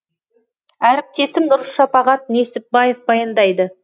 әріптесім нұршапағат несіпбаев баяндайды